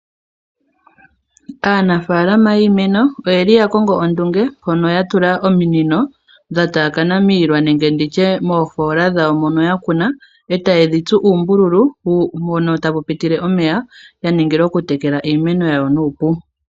Aanafalama yiimeno oyeli yakongo ondunge mpono yatula ominino dhataakana miilwa nenge nditshe moofoola dhawo mono yakuna ee tadhitsu uumbululu mpono tapu pitile omeya yaningila okutekela iimeno yawo nuupu.